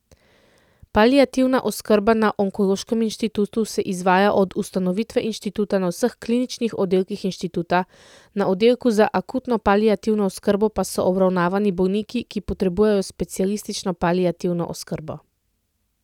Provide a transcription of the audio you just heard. Paliativna oskrba na Onkološkem inštitutu se izvaja od ustanovitve inštituta na vseh kliničnih oddelkih inštituta, na oddelku za akutno paliativno oskrbo pa so obravnavani bolniki, ki potrebujejo specialistično paliativno oskrbo.